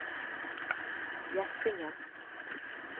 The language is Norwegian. Gjæsingen